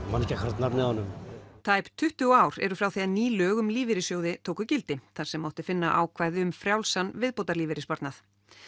man ekki akkúrat nafnið á honum tæp tuttugu ár eru frá því að ný lög um lífeyrissjóði tóku gildi þar sem mátti finna ákvæði um frjálsan viðbótarlífeyrissparnað